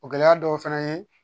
O gɛlɛya dɔw fɛnɛ ye